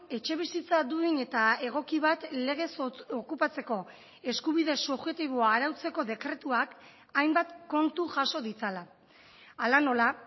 etxebizitza duin eta egoki bat legez okupatzeko eskubide subjektiboa arautzeko dekretuak hainbat kontu jaso ditzala hala nola